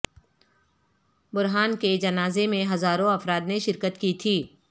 برہان کے جنازے میں ہزاروں افراد نے شرکت کی تھی